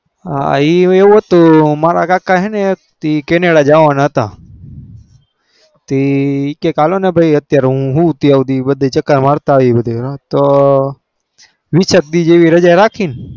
હ એવું હતું મારા કાકા કેનેડા જવાના તા કે હાલો ને હું હું તો બધે ચક્ર માર્યા એ તો વીસ એક દિન ની રજા રાકી ને